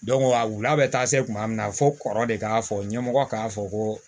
a wula bɛ taa se kuma min na fo kɔrɔ de k'a fɔ ɲɛmɔgɔ k'a fɔ ko